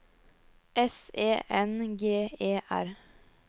S E N G E R